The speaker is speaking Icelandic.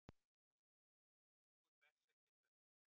Ungur berserkjasveppur.